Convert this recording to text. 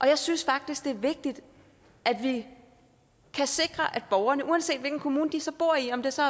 jeg synes faktisk det er vigtigt at vi kan sikre at borgerne uanset hvilken kommune de så bor i om det så